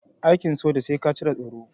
Aikin soja sai ka cire tsoro.